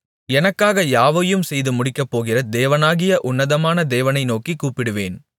எனக்காக யாவையும் செய்து முடிக்கப்போகிற தேவனாகிய உன்னதமான தேவனை நோக்கிக் கூப்பிடுவேன்